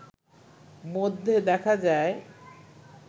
মধ্যে দেখা যায়